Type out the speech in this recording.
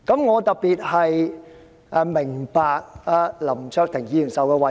我特別能夠明白林卓廷議員的委屈。